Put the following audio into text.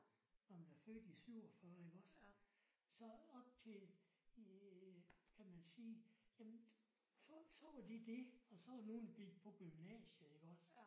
Når man er født i 47 iggås. Så op til kan man sige jamen så så var det det og så var der nogle der gik på gymnasiet iggås